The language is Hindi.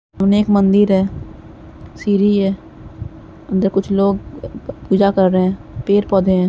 उन्हे एक मंदिर है | सीरी है अंदर कुछ लोग अ ब पूजा कर रहे हैं पेड़- पौधे हैं।